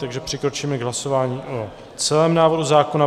Takže přikročíme k hlasování o celém návrhu zákona.